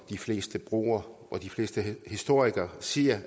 de fleste bruger og som de fleste historikere siger